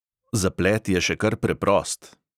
Zaplet je še kar preprost.